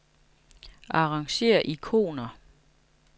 Arrangér ikoner.